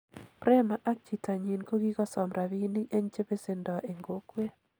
Prema ak chitanyin kokikosom rapinik eng chepesendo eng kokwet.